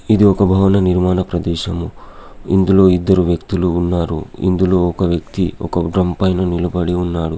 ఇది ఒక భవన నిర్మాణ ప్రదేశము. ఇందులో ఇద్దరు వ్యక్తులు ఉన్నారు. ఇందులో ఒక వ్యక్తి ఒక డ్రమ్ పైన నిలబడి ఉన్నాడు.